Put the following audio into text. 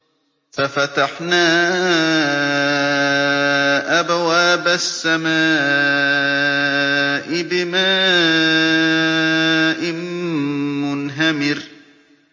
فَفَتَحْنَا أَبْوَابَ السَّمَاءِ بِمَاءٍ مُّنْهَمِرٍ